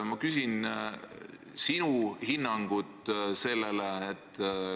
Ma küsin sinu hinnangut sellele.